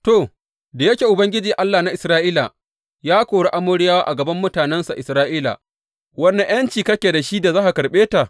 To, da yake Ubangiji, Allah na Isra’ila, ya kori Amoriyawa a gaban mutanensa Isra’ila, wane ’yanci kake da shi da za ka karɓe ta?